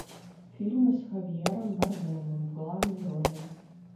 фильмы с хавьером бардемом в главной роли